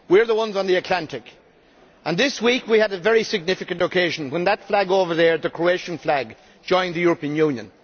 We are the ones on the Atlantic and this week we had a very significant occasion when that flag over there the Croatian flag joined the European Union.